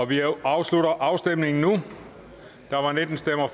vi afslutter afstemningen nu